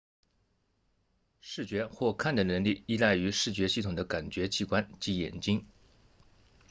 视觉或看的能力依赖于视觉系统的感觉器官即眼睛